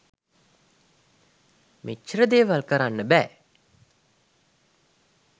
මෙච්චර දේවල් කරන්න බෑ.